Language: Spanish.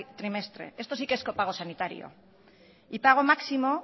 trimestre esto sí que es copago sanitario y pago máximo